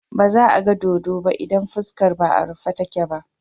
Ba za a ga dodo ba idan fuskar ba a rufe take ba.